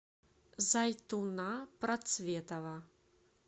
зайтуна процветова